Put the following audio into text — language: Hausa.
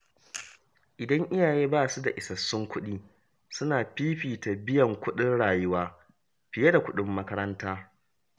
Idan iyaye ba su da isassun kuɗi, suna fifita biyan kuɗin rayuwa fiye da kuɗin makaranta.